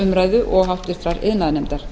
umræðu og háttvirtur iðnaðarnefndar